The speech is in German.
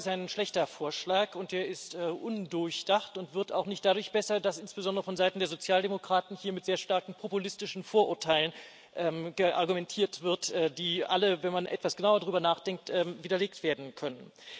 Dieser Vorschlag ist ein schlechter Vorschlag, und er ist undurchdacht und wird auch nicht dadurch besser, dass insbesondere vonseiten der Sozialdemokraten hier mit sehr starken populistischen Vorurteilen argumentiert wird, die alle, wenn man etwas genauer darüber nachdenkt, widerlegt werden können.